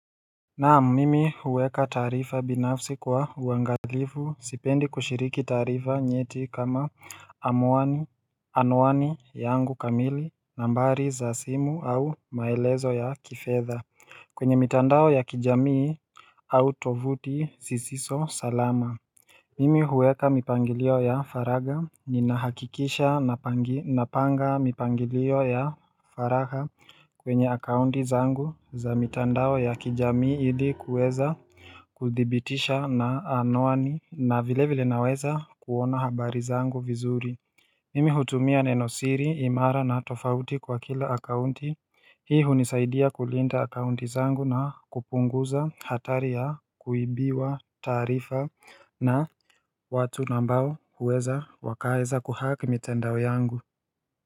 Naam, mimi huweka taarifa binafsi kwa uangalifu, sipendi kushiriki taarifa nyeti kama amuani, anuani yangu kamili nambari za simu au maelezo ya kifedha. Kwenye mitandao ya kijamii au tovuti zisizo salama. Mimi huweka mipangilio ya faragha, ninahakikisha napanga mipangilio ya faragha kwenye account zangu za mitandao ya kijamii ili kuweza kuthibitisha na anwani na vile vile naweza kuona habari zangu vizuri Mimi hutumia nenosiri, imara na tofauti kwa kila account Hii hunisaidia kulinda akaunti zangu na kupunguza hatari ya kuibiwa taarifa na watu ambao huweza, wakaweza ku hack mitandao yangu.